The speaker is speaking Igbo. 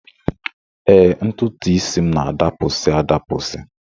Ee, ntụtụisi m na-adapụsị adapụsị